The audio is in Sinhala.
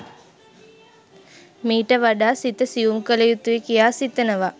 මීට වඩා සිත සියුම් කළ යුතුයි කියා සිතනවා.